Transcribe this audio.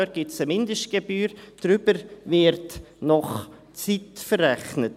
Dort gibt es eine Mindestgebühr, darüber wird nach Zeit verrechnet.